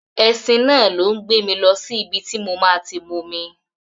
Ẹṣin náà ló ń gbé mi lọ sí ibi tí mo máa ti momi.